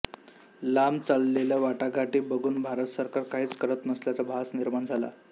लांब चाललेल्या वाटाघाटी बघुन भारत सरकार काहीच करत नसल्याचा भास निर्माण झाला